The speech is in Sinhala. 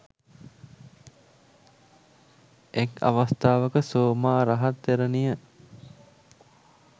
එක් අවස්ථාවක සෝමා රහත් තෙරණිය